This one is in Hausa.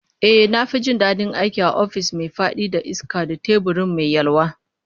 Ehh, na fi jin dadin aiki a ofis mai fadi da iska da teburi mai yalwa